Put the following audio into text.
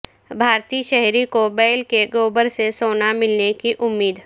بھارتی شہری کو بیل کے گوبر سے سونا ملنے کی امید